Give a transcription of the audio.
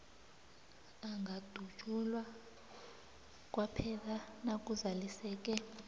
angadutjulwa kwaphela nakuzaliseke